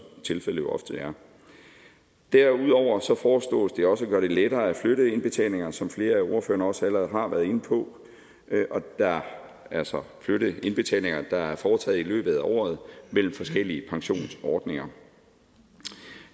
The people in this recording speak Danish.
tilfældet jo ofte er derudover foreslås det også at gøre det lettere at flytte indbetalinger som flere af ordførerne også allerede har været inde på altså at flytte indbetalinger der er foretaget i løbet af året mellem forskellige pensionsordninger